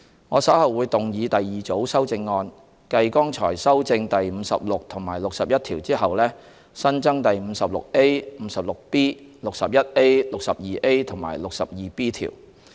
我稍後會動議第二組修正案，繼剛才修正第56及61條後，新增第 56A、56B、61A、62A 及 62B 條。